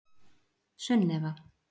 Sunneva